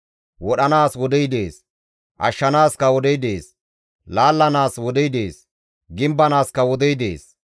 Wodhanaas wodey dees; ashshanaaskka wodey dees. laallanaas wodey dees; gimbanaaskka wodey dees.